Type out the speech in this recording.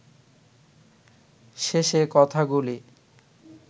শেষে কথাগুলি